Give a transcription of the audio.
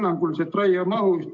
Palun küsimust!